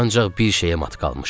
Ancaq bir şeyə mat qalmışdı.